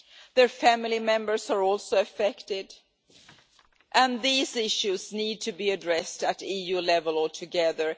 Their family members are also affected. These issues need to be addressed at EU level, all together.